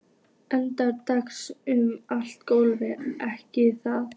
Eiríkur dansaði um allt gólf, gekk að